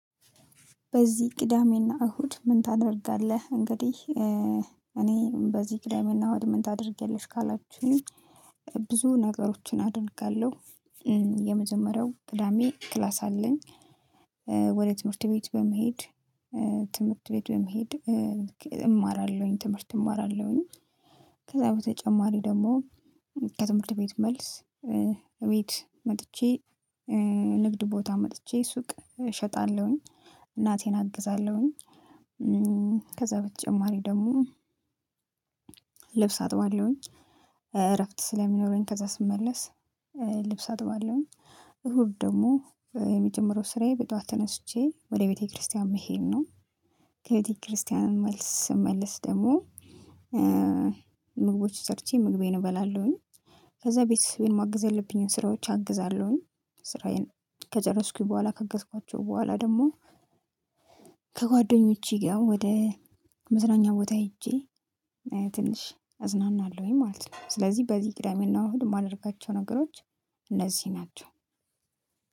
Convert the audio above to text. በዚህ ቅዳሜና እሁድ ምን ታደርጋለህ? እንግዲህ እኔ በዚህ ቅዳሜ እና እሁድ ምን ታደርጊያለሽ? ካላችሁኝ ብዙ ነገሮችን አደርጋለሁ። የመጀመሪያው ቅዳሜ ክላስ አለኝ። ወደ ትምህርት ቤት በመሄድ ትምህርት ቤት በመሄድ እማራለሁኝ ትምህርት እማራለሁኝ። ከዛ በተጨማሪ ደግሞ ከትምህርት ቤት መልስ እቤት መጥቼ ንግድ ቦታ መጥቼ ሱቅ እሸጣለሁኝ እናቴን አግዛለሁኝ። ከዛ በተጨማሪ ደግሞ ልብስ አጥባለሁኝ። እረፍት ስለሚኖረኝ ከዛ ስመለስ ልብስ አጥባለሁኝ። እሁድ ደግሞ የመጀመሪያው ስራዬ በጧት ተነስቼ ወደ ቤተክርስቲያን መሄድ ነው። ከቤተክርስቲያን መልስ ስመልስ ደግሞ ምግቦች ሰርቼ ምግቤን እበላለሁኝ። ከዛ ቤተሰቤን ማገዝ ያልብኝን ስራዎች አግዛለሁኝ ስራዬን ከጨረስኩኝ በኋላ ከአገዝኳቸው በኋላ ደግሞ ከጓደኞቼ ጋር ወደ መዝናኛ ቦታ ሄጄ ትንሽ እዝናናለሁኝ ማለት ነው። ስለዚህ በዚህ ቅዳሜና እሁድ የማደርጋቸው ነገሮች እነዚህ ናቸው።